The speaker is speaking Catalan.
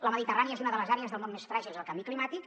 la mediterrània és una de les àrees del món més fràgils al canvi climàtic